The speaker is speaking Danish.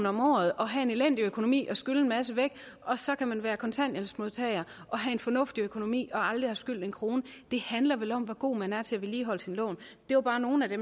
om året og have en elendig økonomi og skylde en masse væk og så kan man være kontanthjælpsmodtager og have en fornuftig økonomi og aldrig have skyldt en krone det handler vel om hvor god man er til at vedligeholde sine lån det var bare nogle af de